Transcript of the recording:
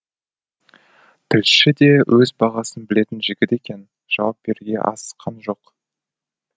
тілші де өз бағасын білетін жігіт екен жауап беруге асыққан жоқ